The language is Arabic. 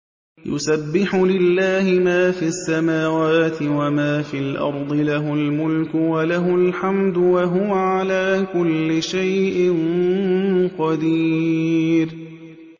يُسَبِّحُ لِلَّهِ مَا فِي السَّمَاوَاتِ وَمَا فِي الْأَرْضِ ۖ لَهُ الْمُلْكُ وَلَهُ الْحَمْدُ ۖ وَهُوَ عَلَىٰ كُلِّ شَيْءٍ قَدِيرٌ